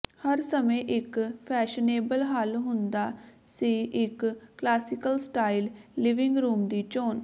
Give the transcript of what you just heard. ਹਰ ਸਮੇਂ ਇੱਕ ਫੈਸ਼ਨੇਬਲ ਹੱਲ ਹੁੰਦਾ ਸੀ ਇੱਕ ਕਲਾਸੀਕਲ ਸਟਾਇਲ ਲਿਵਿੰਗ ਰੂਮ ਦੀ ਚੋਣ